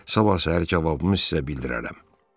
Sabah ətraflı cavabımı sizə bildirərəm.